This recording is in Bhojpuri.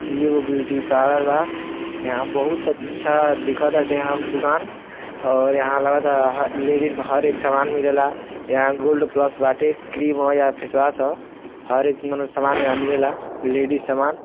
इ एगो ब्यूटी पार्लर बा। यहाँँ बहुत अच्छा दिखताटे हम दुकान और यहाँँ लगत ह ह लेडिज क हर एक सामान मिलेला। यहाँँ गोल्ड प्लस बाटे। क्रीम ह या फेशवॉश ह। हर एक मने सामान यहाँँ मिलेला लेडिज सामान।